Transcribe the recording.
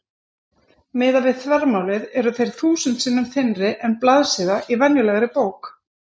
Miðað við þvermálið eru þeir þúsund sinnum þynnri en blaðsíða í venjulegri bók.